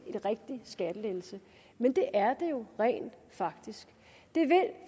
rigtige skattelettelser men det er det jo rent faktisk det er